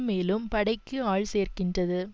மேலும் படைக்கு ஆள் சேர்க்கின்றது